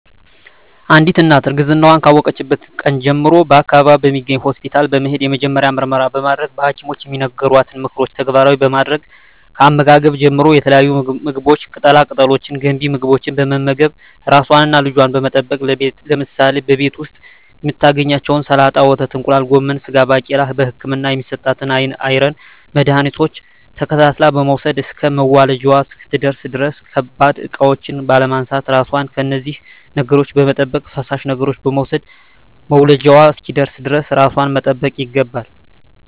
አንዲት እናት እርግዝናዋን ካወቀችበት ቀን ጀምሮ በአካባቢዋ በሚገኝ ሆስፒታል በመሄድ የመጀመሪያ ምርመራ በማድረግ በሀኪሞች የሚነገሯትን ምክሮች ተግባራዊ በማድረግ ከአመጋገብ ጀምሮ የተለያዩ ምግቦች ቅጠላ ቅጠሎች ገንቢ ምግቦች በመመገብ ራሷንና ልጇን በመጠበቅ ለምሳሌ በቤት ዉስጥ የምታገኛቸዉን ሰላጣ ወተት እንቁላል ጎመን ስጋ ባቄላ በህክምና የሚሰጣትን የአይረን መድሀኒቶች ተከታትላ በመዉሰድ እስከ መዉለጃዋ እስክትደርስ ድረስ ከባድ እቃዎች ባለማንሳት ራሷን ከነዚህ ነገሮች በመጠበቅ ፈሳሽ ነገሮችን በመዉሰድ መዉለጃዋ እስኪደርስ ድረስ ራሷን መጠበቅ ይገባል